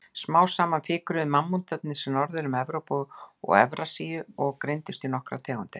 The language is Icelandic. Smám saman fikruðu mammútarnir sig norður um Evrópu og Evrasíu og greindust í nokkrar tegundir.